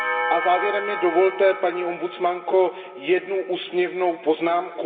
A závěrem mi dovolte, paní ombudsmanko, jednu úsměvnou poznámku.